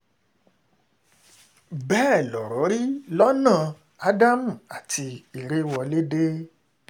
bẹ́ẹ̀ lọ̀rọ̀ rí lọ́nà as um adam àti ìrèwọlédè